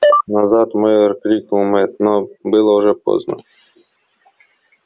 назад майор крикнул мэтт но было уже поздно